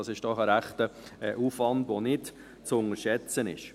Das ist doch ein rechter Aufwand, der nicht zu unterschätzen ist.